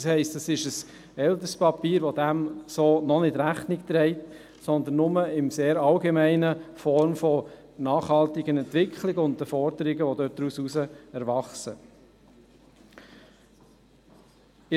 Das heisst, es ist ein älteres Papier, das dem so noch nicht Rechnung trägt, sondern nur in sehr allgemeiner Form von nachhaltigen Entwicklungen und den Forderungen, die daraus erwachsen, spricht.